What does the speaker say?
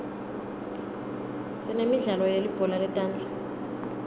sinemidlalo yelibhola letandla